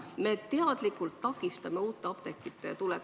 Me teadlikult takistame uute apteekide tulekut.